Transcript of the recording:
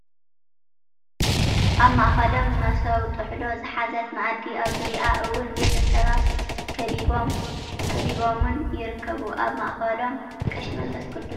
ኣብ ማእከሎም መሰው ጥሕሎ ዝሓዘት ምኣድን ኣብ ዙርይኣ እውን ቤተሰባ ከቢቦን ይርከብ። ኣብ ማእከሎም ቀሺ መንፈስ ቁድስ እውን ኣለው ።